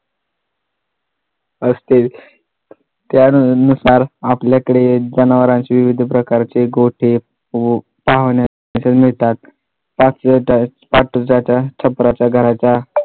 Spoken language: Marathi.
असते त्यानुसार आपल्याकडे जनावरांचे विविध प्रकारचे गोठे व छपराचा घराचा